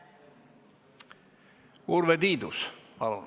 Urve Tiidus, palun!